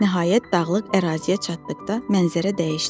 Nəhayət dağlıq əraziyə çatdıqda mənzərə dəyişdi.